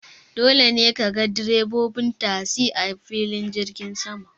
Dole ne kaga direbobin tasi a filin jirgin sama.